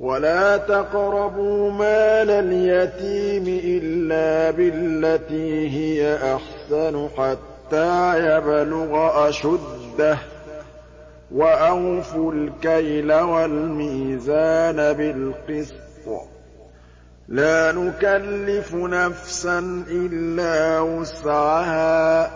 وَلَا تَقْرَبُوا مَالَ الْيَتِيمِ إِلَّا بِالَّتِي هِيَ أَحْسَنُ حَتَّىٰ يَبْلُغَ أَشُدَّهُ ۖ وَأَوْفُوا الْكَيْلَ وَالْمِيزَانَ بِالْقِسْطِ ۖ لَا نُكَلِّفُ نَفْسًا إِلَّا وُسْعَهَا ۖ